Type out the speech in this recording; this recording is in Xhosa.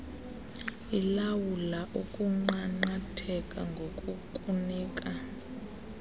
ilawula ukunqanqatheka ngokukunika